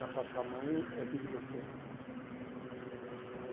Da parte da mãe, é aqui de Botidas Cruz. E